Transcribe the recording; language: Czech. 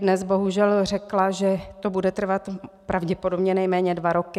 Dnes bohužel řekla, že to bude trvat pravděpodobně nejméně dva roky.